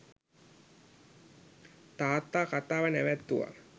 තාත්තා කතාව නැවැත්තුවා.